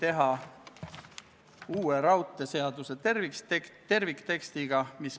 Ma palun ettekandjaks riigikaitsekomisjoni liikme Ants Laaneotsa.